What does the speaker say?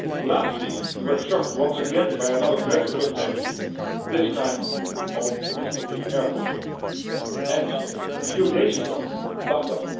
Last week we were shocked once again by another dreadful attack, this time on Istanbul's airport, and a few days ago, Baghad.